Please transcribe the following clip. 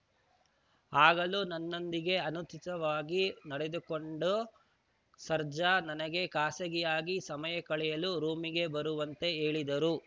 ಆಗಲೂ ನನ್ನೊಂದಿಗೆ ಅನುಚಿತವಾಗಿ ನಡೆದುಕೊಂಡ ಸರ್ಜಾ ನನಗೆ ಖಾಸಗಿಯಾಗಿ ಸಮಯ ಕಳೆಯಲು ರೂಮಿಗೆ ಬರುವಂತೆ ಹೇಳಿದರು